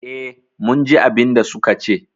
Eh, mun ji abinda suka ce